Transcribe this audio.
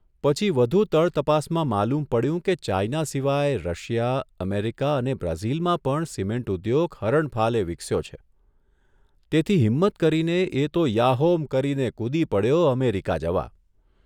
પછી વધુ તળતપાસમાં માલુમ પડ્યું કે ચાઇના સિવાય રશિયા, અમેરિકા અને બ્રાઝીલમાં પણ સિમેન્ટ ઉદ્યોગ હરણફાલે વિકસ્યો છે તેથી હિમ્મત કરીને એ તો યાહોમ કરીને કૂદી પડ્યો અમેરિકા જવા.